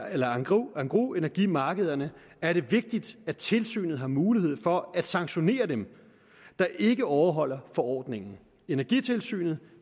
af engrosenergimarkederne er det vigtigt at tilsynet har mulighed for at sanktionere dem der ikke overholder forordningen energitilsynet